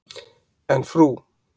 En Frú.